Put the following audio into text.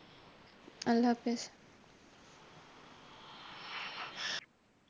আল্লাহ হাফেজ।